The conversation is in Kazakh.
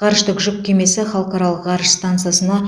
ғарыштық жүк кемесі халықаралық ғарыш стансасына